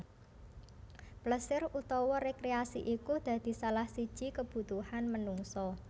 Plesir utawa rekreasi iku dadi salah siji kebutuhan menungsa